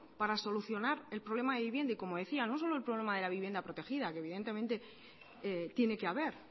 para solucionar el problema de vivienda y como decía no solo el problema de la vivienda protegida que evidentemente tiene que haber